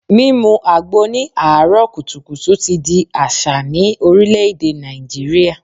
Mímu àgbo ní àáárò kùtùkùtù ti di àṣà ní Orílè-èdè Nàìjíríà